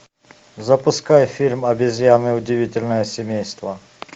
запускай фильм обезьяны удивительное семейство